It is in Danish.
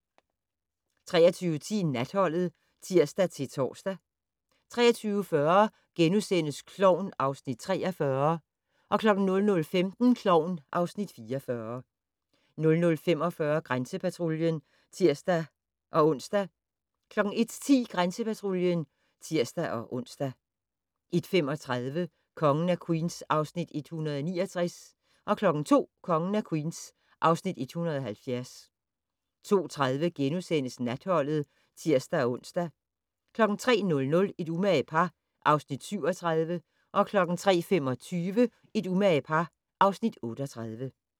23:10: Natholdet (tir-tor) 23:40: Klovn (Afs. 43)* 00:15: Klovn (Afs. 44) 00:45: Grænsepatruljen (tir-ons) 01:10: Grænsepatruljen (tir-ons) 01:35: Kongen af Queens (Afs. 169) 02:00: Kongen af Queens (Afs. 170) 02:30: Natholdet *(tir-ons) 03:00: Et umage par (Afs. 37) 03:25: Et umage par (Afs. 38)